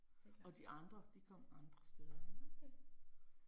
Det er klart. Okay